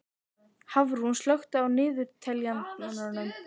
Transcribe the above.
Hafrún, slökktu á niðurteljaranum.